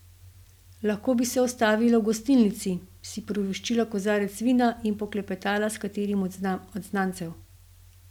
Lahko bi se ustavila v gostilnici, si privoščila kozarec vina in poklepetala s katerim od znancev.